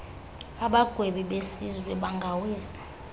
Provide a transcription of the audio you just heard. abagwebi besizwe bangawisa